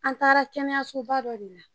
An taara kɛnɛyasoba dɔ de la